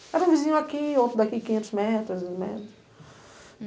Era um vizinho aqui, outro daqui, quinhentos metros, né.